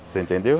Você entendeu?